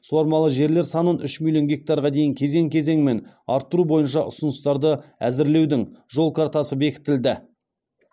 суармалы жерлер санын үш миллион гектарға дейін кезең кезеңімен арттыру бойынша ұсыныстарды әзірлеудің жол картасы бекітілді